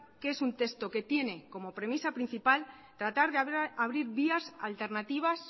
que es un texto que tiene como premisa principal tratar de abrir vías alternativas